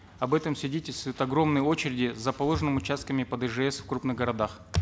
об этом свидетельствуют огромные очереди за положенными участками под ижс в крупных городах